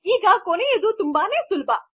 ಈಗ ಕೊನೆಯದು ತುಂಬಾನೆ ಸುಲಭ